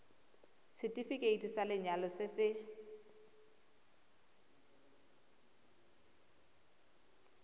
setefikeiti sa lenyalo se se